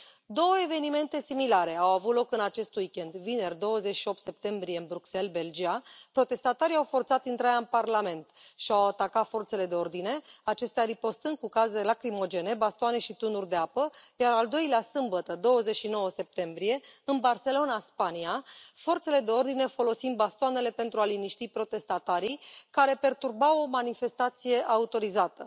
Două evenimente similare au avut loc în acest week end vineri, 28 septembrie, în Bruxelles, Belgia, protestatarii au forțat intrarea în Parlament și au atacat forțele de ordine, acestea ripostând cu gaze lacrimogene, bastoane și tunuri de apă, iar al doilea, sâmbătă, 29 septembrie, în Barcelona, Spania, forțele de ordine folosind bastoanele pentru a liniști protestatarii care perturbau o manifestație autorizată.